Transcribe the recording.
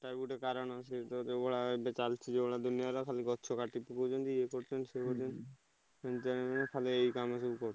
ତା ବି ଗୋଟେ କାରଣ ସେଇତ ଯୋଉଭଳିଆ ଏବେ ଚାଲିଛି ଯୋଉଭଳିଆ ଦୁନିଆରେ ଖାଲି ଗଛ କାଟି ପକଉଛନ୍ତି ଇଏ କରୁଛନ୍ତି ସିଏ କରୁଛନ୍ତି। ଏଇ କାମ ସବୁ କରୁଛନ୍ତି।